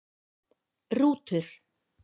Rútur